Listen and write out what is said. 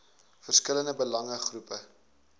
verskillende belange groepe